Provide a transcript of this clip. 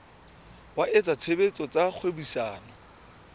wa etsa tshebetso tsa kgwebisano